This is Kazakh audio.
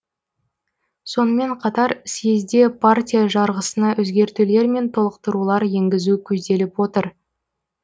сонымен қатар съезде партия жарғысына өзгертулер мен толықтырулар енгізу көзделіп отыр